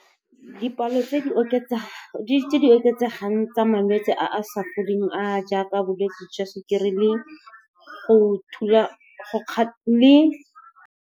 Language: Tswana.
Dipalo tse di oketsegang tsa malwetse a a sa foleng, a a jaaka bolwetse jwa sukiri le .